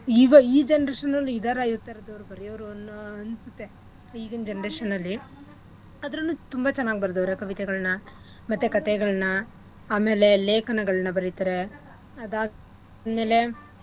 ಈಬ ಈ generation ಅಲ್ ಇದಾರಾ ಈಥರ್ದೋರ್ ಬರಿಯೋರು ಅನ್ನೋ ಅನ್ಸುತ್ತೆ ಈಗಿನ್ generation ಅಲ್ಲಿ ಆದ್ರುನೂ ತುಂಬಾ ಚೆನ್ನಾಗ್ ಬರ್ದೌರೆ ಕವಿತೆಗಳ್ನ ಮತ್ತೆ ಕಥೆಗಳ್ನ ಆಮೇಲೆ ಲೇಖನಗಳ್ನ ಬರಿತರೆ ಅದಾದ್ಮೇಲೆ .